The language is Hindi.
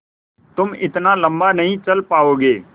तुम इतना लम्बा नहीं चल पाओगे